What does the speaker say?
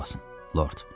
Qulaq asın, Lord.